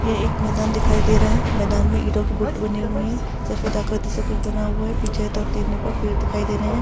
ये एक मैदान दिखाई दे रहा है। मैदान में एरो के गुट्ट बने हुए हैं सफेद आकृति जैसे कुछ बना हुआ है पीछे कुछ दो-तीन पेड़ दिखाई दे रहे हैं।